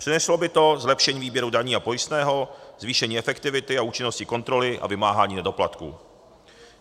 Přineslo by to zlepšení výběru daní a pojistného, zvýšení efektivity a účinnosti kontroly a vymáhání nedoplatků.